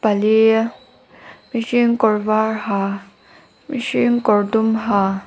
pali mihring kawr var ha mihring kawr dum ha.